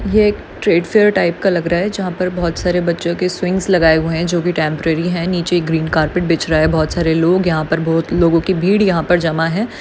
यह एक टाइप का लग रहा है जहा पर बहुत सारे बच्चों की स्विंग्स लगी हुए है जो की टेम्परेरी है नीचे ग्रीन कार्पेट भिछ रहा है बहुत सारे लोग है यहा पर बहुत लोगों की भीड़ है यहा पर जमा है।